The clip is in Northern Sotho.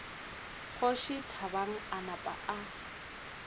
kgoši thabang a napa a